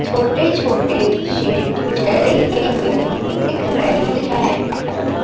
छोटे-छोटे शेर के दिख रहे हैं।